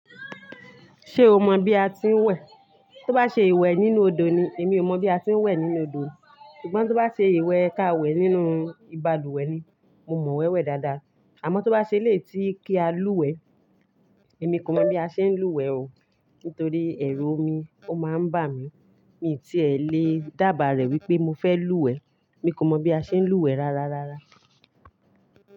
Ṣé o mọ bí a ti ń wẹ̀? Tí ó bá ṣe ìwẹ̀ nínú odò ni, èmi ò mọ̀ bí a ti ń wẹ̀ nínú odò. Ṣùgbọ́n tí ó bá ṣe ìwẹ̀ káwẹ̀ nínú ibalúwẹ̀ ni, mo mọ̀ wẹ́wẹ̀ dáadáa. Àmọ́ tí ó bá ṣe létí kí a lúwẹ̀ẹ́, èmi kò mọ̀ bí a ṣe ń lúwẹ̀ẹ́ o. Nítorí ẹ̀rù omi ó máa ń bà mí, mi tí è lé dàba rẹ̀ wípé mo fẹ́ lúwẹ̀ẹ́. Èmi kò mọ̀ bí a ṣe ń lúwẹ̀ẹ́ rárá rárá.